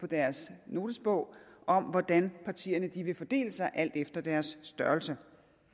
deres notesbog om hvordan partierne vil fordele sig alt efter deres størrelse